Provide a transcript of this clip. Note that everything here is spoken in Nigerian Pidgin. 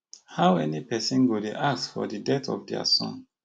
how any pesin go dey ask for di death of dia son